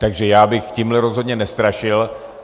Takže já bych tímhle rozhodně nestrašil.